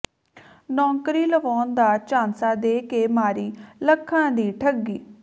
ਨੌਕਰੀ ਲਵਾਉਣ ਦਾ ਝਾਂਸਾ ਦੇ ਕੇ ਮਾਰੀ ਲੱਖਾਂ ਦੀ ਠੱਗੀ